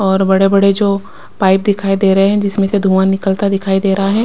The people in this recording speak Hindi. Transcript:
और बड़े-बड़े जो पाइप दिखाई दे रहे हैं जिसमें से धुआं निकलता दिखाई दे रहा है।